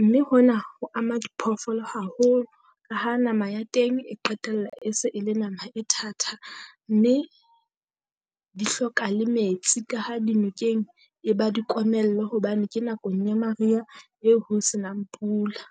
mme hona ho ama diphoofolo haholo. Ka ha nama ya teng e qetella e se e le nama e thata, mme di hloka le metsi ka ha dinokeng e ba dikomello, hobane ke nakong ya mariha eo ho senang pula.